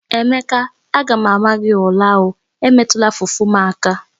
Emeke a ga m ama gi ula o, emetula fufu m aka!